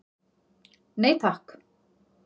Nei takk.